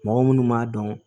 Mɔgɔ munnu b'a dɔn